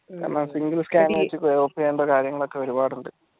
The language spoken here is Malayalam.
എന്ന single scanner വെച്ച് കാര്യങ്ങൾ ഒരുപാടുണ്ട്